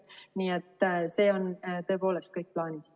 Nii et see on tõepoolest kõik plaanis.